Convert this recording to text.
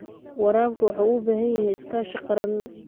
Waraabku waxa uu u baahan yahay iskaashi qaran.